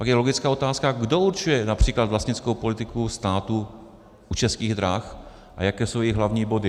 Pak je logická otázka, kdo určuje například vlastnickou politiku státu u Českých drah a jaké jsou její hlavní body.